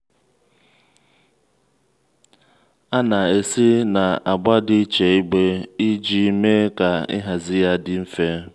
a a na-esi na agba iche igbe iji mee ka ịhazi ya dị mfe.